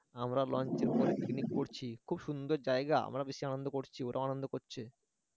আমরা লঞ্চ এর উপরে পিকনিক করছি খুব সুন্দর জায়গা আমরা আনন্দ করছি ওরাও আনন্দ করছে